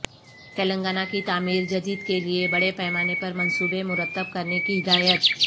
تلنگانہ کی تعمیر جدید کے لئے بڑے پیمانے پرمنصوبے مرتب کرنے کی ہدایت